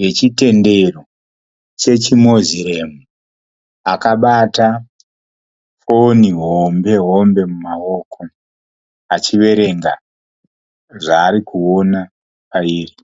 yechitendero chechi moziremu akabata foni hombe hombe mumaoko achiverenga zvaarikuona mairi.